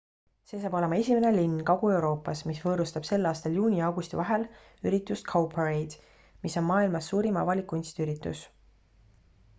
see saab olema esimene linn kagu-euroopas mis võõrustab sel aastal juuni ja augusti vahel üritust cowparade mis on maailmas suurim avalik kunstiüritus